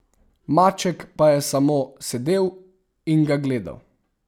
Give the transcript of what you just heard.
Maček pa je samo sedel in ga gledal.